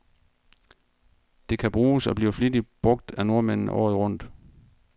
Det kan bruges, og bliver flittigt brug af nordmændene, året rundt.